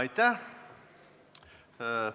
Aitäh!